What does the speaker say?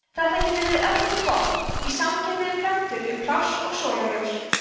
þetta getur verið öflugt vopn í samkeppni við plöntur um pláss og sólarljós